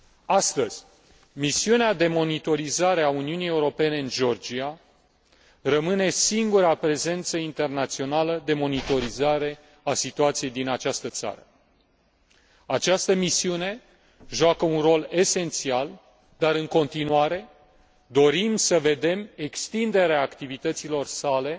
Astăzi, misiunea de monitorizare a Uniunii Europene în Georgia rămâne singura prezență internațională de monitorizare a situației din această țară. Această misiune joacă un rol esențial dar, în continuare, dorim să vedem extinderea activităților sale